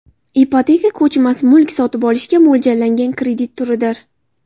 Ipoteka ko‘chmas mulk sotib olishga mo‘ljallangan kredit turidir.